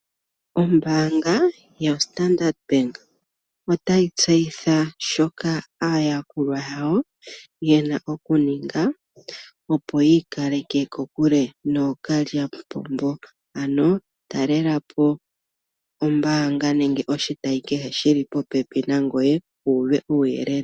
Ombaanga yoStandard bank otayi tseyitha shoka aayakulwa yayo yena okuninga opo yi ikaleke kokule nookalyamupombo, ano talela po ombaanga nenge oshitayi kehe shili popepi nangoye wuuve uuyelele